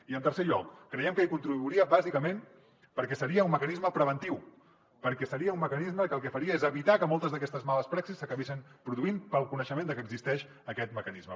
i en tercer lloc creiem que hi contribuiria bàsicament perquè seria un mecanisme preventiu perquè seria un mecanisme que el que faria és evitar que moltes d’aquestes males praxis s’acabessin produint pel coneixement de que existeix aquest mecanisme